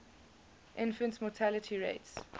infant mortality rates